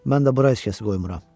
Mən də bura heç kəsi qoymuram.